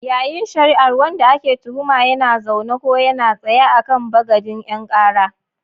Yayin shari'ar, wanda ake tuhuma yana zaune ko yana tsaye a kan bagadin 'yan kara.